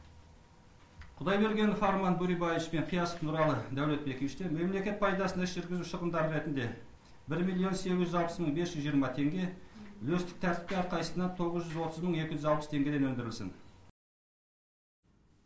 құдайбергенов арман бөребаевич пен қиясов нұралы дәулетбековичтен мемлекет пайдасына іс жүргізу шығындары ретінде бір миллион сегіз жүз алпыс мың бес жүз жиырма теңге үлестік тәртіпке әрқайсысынан тоғыз жүз отыз мың екі жүз алпыс теңгеден өндірілсін